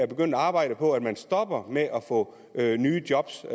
begyndt at arbejde på at man stopper med at få nye job til